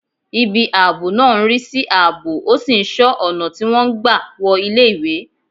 Ibi ààbò náà ń rí sí ààbò, ó sì ń ṣọ́ ọ̀nà tí wọ́n ń gbà wọ iléèwé